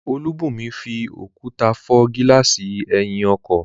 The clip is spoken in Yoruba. Olúbùnmi fi òkúta fọ́ gílààsì ẹ̀yìn ọkọ̀